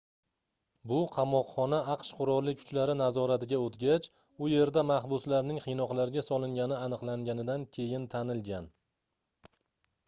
bu qamoqxona aqsh qurolli kuchlari nazoratiga oʻtgac u yerda mahbuslarning qiynoqlarga solingani aniqlanganidan keyin tanilgan